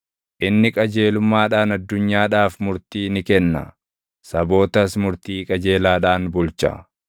Inni qajeelummaadhaan addunyaadhaaf murtii ni kenna; sabootas murtii qajeelaadhaan bulcha.